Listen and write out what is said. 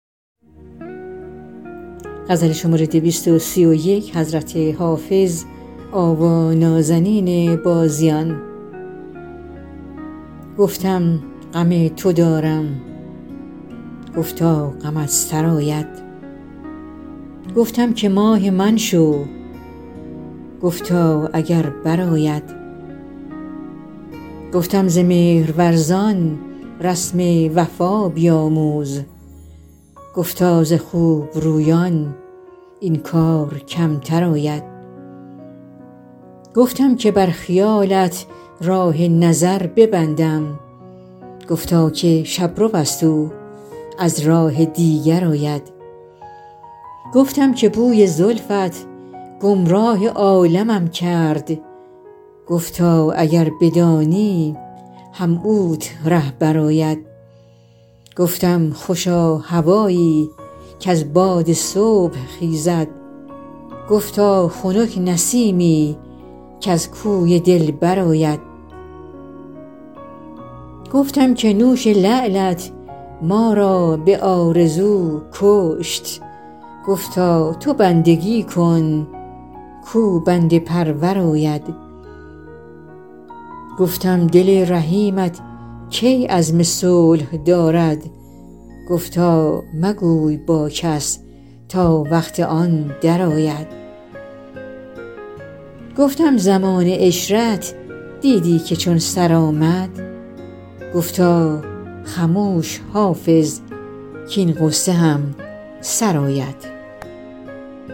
گفتم غم تو دارم گفتا غمت سرآید گفتم که ماه من شو گفتا اگر برآید گفتم ز مهرورزان رسم وفا بیاموز گفتا ز خوب رویان این کار کمتر آید گفتم که بر خیالت راه نظر ببندم گفتا که شب رو است او از راه دیگر آید گفتم که بوی زلفت گمراه عالمم کرد گفتا اگر بدانی هم اوت رهبر آید گفتم خوشا هوایی کز باد صبح خیزد گفتا خنک نسیمی کز کوی دلبر آید گفتم که نوش لعلت ما را به آرزو کشت گفتا تو بندگی کن کاو بنده پرور آید گفتم دل رحیمت کی عزم صلح دارد گفتا مگوی با کس تا وقت آن درآید گفتم زمان عشرت دیدی که چون سر آمد گفتا خموش حافظ کـاین غصه هم سر آید